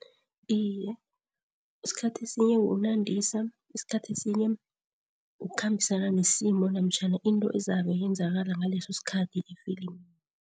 Iye, isikhathi esinye kunandisa, isikhathi esinye kukhambisana nesimo namtjhana into ezabe yenzakala ngaleso sikhathi i-film.